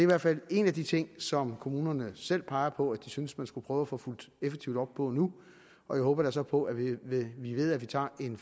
hvert fald en af de ting som kommunerne selv peger på at de synes man skulle prøve at få fulgt effektivt op på nu og jeg håber da så på at vi ved ved at vi tager en